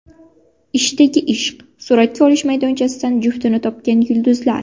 Ishdagi ishq: suratga olish maydonchasidan juftini topgan yulduzlar.